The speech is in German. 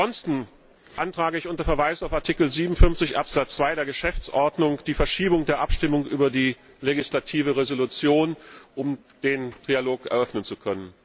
Ansonsten beantrage ich unter Verweis auf Artikel 57 Absatz 2 der Geschäftsordnung die Verschiebung der Abstimmung über die legislative Entschließung, um den Trilog eröffnen zu können.